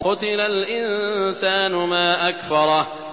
قُتِلَ الْإِنسَانُ مَا أَكْفَرَهُ